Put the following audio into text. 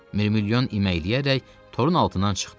Mirmilyon iməkləyərək torun altından çıxdı.